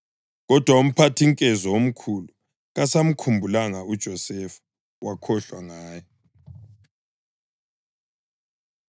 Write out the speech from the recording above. Kodwa umphathinkezo omkhulu kasamkhumbulanga uJosefa; wakhohlwa ngaye.